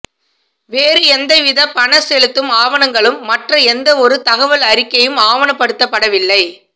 வேறு எந்தவிதமான பணம் செலுத்தும் ஆவணங்களும் மற்ற எந்தவொரு தகவல் அறிக்கையும் ஆவணப்படுத்தப்படவில்லை